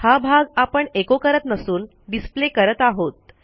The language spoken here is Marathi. हा भाग आपण echoकरत नसून डिस्प्ले करत आहोत